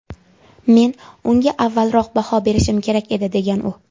Men unga avvalroq baho berishim kerak edi”, degan u.